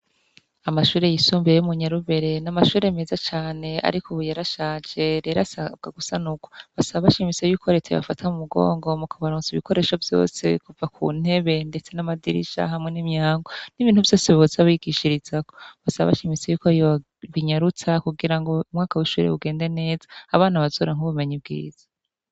Amashure yisumbiye yo umunyarubere n'amashure meza cane, ariko ubuyarashaje rera sabwa gusana ukwo basa bashimise yuko rete bafata mu mugongo mu kabarunutsa ibikoresho vyose kuva ku ntebe, ndetse n'amadirisha hamwe n'imyango n'ibintu vyose biboze abigishirizako basa bashimise yuko riwa binyarutsa kugira ngo umwaka wishurue ugende neza abana bazora nk'ubumenyi bwiza.